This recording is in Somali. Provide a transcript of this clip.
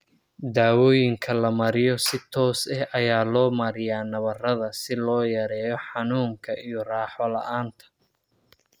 Daawooyinka la mariyo si toos ah ayaa loo mariyaa nabarrada si loo yareeyo xanuunka iyo raaxo la'aanta.